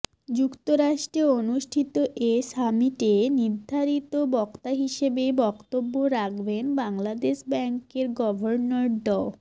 যুক্তরাষ্ট্রে অনুষ্ঠিত এ সামিটে নির্ধারিত বক্তা হিসেবে বক্তব্য রাখবেন বাংলাদেশ ব্যাংকের গভর্নর ড